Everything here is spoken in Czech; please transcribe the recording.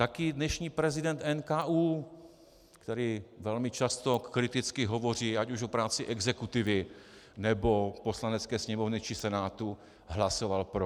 Taky dnešní prezident NKÚ, který velmi často kriticky hovoří ať už o práci exekutivy, nebo Poslanecké sněmovny či Senátu, hlasoval pro.